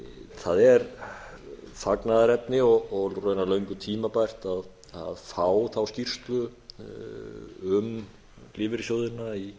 það er fagnaðarefni og raunar löngu tímabært að fá þá skýrslu um lífeyrissjóðina í